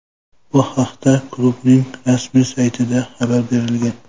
Bu haqda klubning rasmiy saytida xabar berilgan .